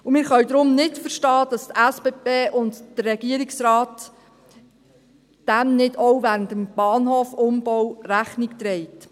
Wir können deshalb nicht verstehen, dass die SBB und der Regierungsrat dem nicht auch während des Bahnhofumbaus Rechnung tragen.